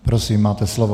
Prosím, máte slovo.